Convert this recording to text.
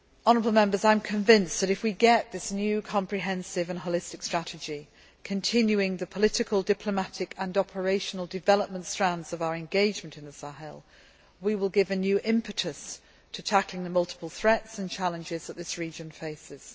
I am convinced that if we set up this new comprehensive and holistic strategy, continuing the political, diplomatic and operational development strands of our engagement in the Sahel, we will give a new impetus to tackling the multiple threats and challenges that this region faces.